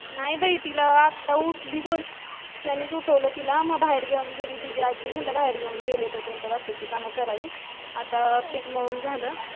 नाही बाई तिला आता उठली गोल्यानेच उठवलं तिला मग बाहेर घेवून गेली तिची आज्जी मग बाहेर घेवून गेले तोपर्यंत बाकीचे काम करावी आता पीठ माळून झालं